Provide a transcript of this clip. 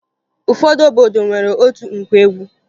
Ụfọdụ obodo nwere otu nkwa egwu